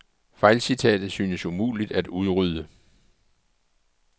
Fejlcitatet synes umuligt at udrydde.